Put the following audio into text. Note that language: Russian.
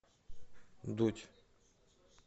дудь